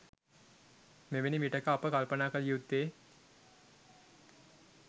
මෙවැනි විටෙක අප කල්පනා කළ යුත්තේ